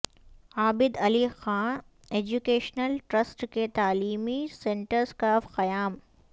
عابد Ali Khan educational trust کے تعلیمی سنٹرس کا قیام